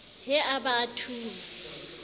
he a ba a thunya